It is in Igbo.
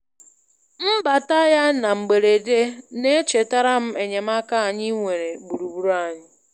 Mbata ya na mgberede na-echetara m enyemaaka anyị nwere gburugburu anyị.